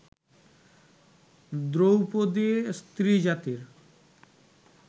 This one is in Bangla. দ্রৌপদী স্ত্রীজাতির